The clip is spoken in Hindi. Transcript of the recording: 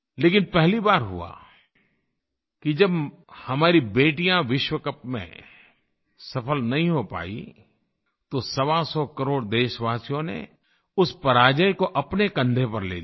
लेकिन पहली बार हुआ कि जब हमारी बेटियाँ विश्व कप में सफ़ल नहीं हो पाईं तो सवासौ करोड़ देशवासियों ने उस पराजय को अपने कंधे पर ले लिया